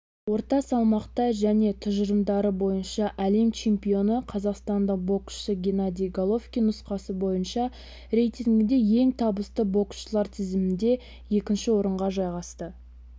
орта салмақта және тұжырымдары бойынша әлем чемпионы қазақстандық боксшы геннадий головкин нұсқасы бойынша рейтингінде ең табысты боксшылар тізімінде екінші орынға жайғасты